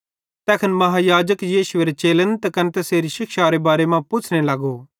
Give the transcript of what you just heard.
तैखन महायाजक यीशुएरे चेलां त कने तैसेरी शिक्षारे बारे मां पुच्छ़ने लगो